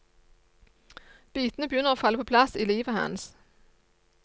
Bitene begynner å falle på plass i livet hans.